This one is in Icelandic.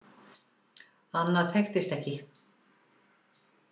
Annað þekktist ekki.